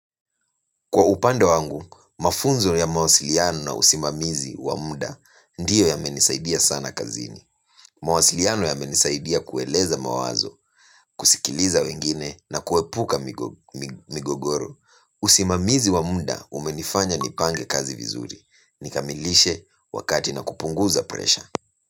Kwa upande wangu, mafunzo ya mawasiliano na usimamizi wa muda ndio yamenisaidia sana kazini. Mawasiliano yamenisaidia kueleza mawazo, kusikiliza wengine na kuepuka migogoro. Usimamizi wa muda umenifanya nipange kazi vizuri. Ni kamilishe wakati na kupunguza pressure.